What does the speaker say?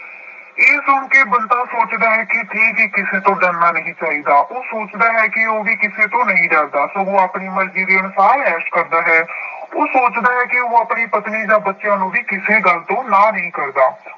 ਇਹ ਸੁਣ ਕੇ ਬੰਤਾ ਸੋਚਦਾ ਹੈ ਕਿ ਠੀਕ ਹੀ ਕਿਸੇ ਤੋਂ ਡਰਨਾ ਨਹੀਂ ਚਾਹੀਦਾ, ਉਹ ਸੋਚਦਾ ਹੈ ਕਿ ਉਹ ਵੀ ਕਿਸੇ ਤੋਂ ਨਹੀਂ ਡਰਦਾ ਸਗੋਂ ਆਪਣੀ ਮਰਜ਼ੀ ਦੇ ਅਨੁਸਾਰ ਐਸ਼ ਕਰਦਾ ਹੈ ਉਹ ਸੋਚਦਾ ਹੈ ਕਿ ਉਹ ਆਪਣੀ ਪਤਨੀ ਜਾਂ ਬੱਚਿਆਂ ਨੂੰ ਵੀ ਕਿਸੇ ਗੱਲ ਤੋਂ ਨਾਂਹ ਨਹੀਂ ਕਰਦਾ।